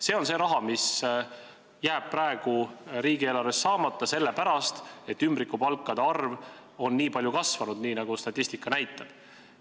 See on see raha, mis jääb praegu riigieelarvesse saamata, sellepärast et ümbrikupalkade maksmine on nii palju kasvanud, nagu statistika näitab.